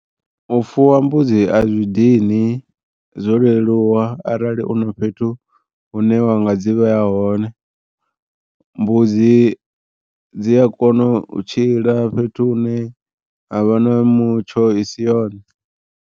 U fuwa mbudzi a zwi dini zwo leluwa arali una fhethu hune wa nga dzi vheya hone. Mbudzi dzi a kona u tshila fhethu hune ha vha na mutsho i si yone.